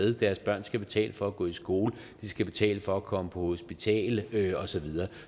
at deres børn skal betale for at gå i skole at de skal betale for at komme på hospitalet og så videre